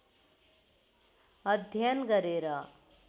अध्ययन गरेर